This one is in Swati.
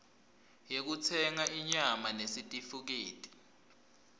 yekutsenga inyama nesitifiketi